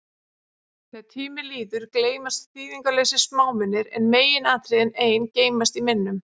Þegar tími líður, gleymast þýðingarlausir smámunir, en meginatriðin ein geymast í minnum.